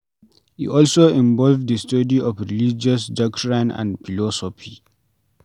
E also involve di study of religious doctrines and philosophy